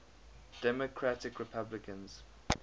democratic republicans